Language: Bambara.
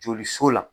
Joli so la